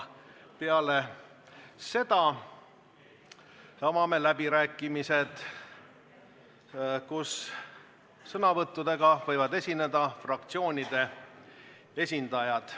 Peale seda avame läbirääkimised, sõnavõttudega võivad esineda fraktsioonide esindajad.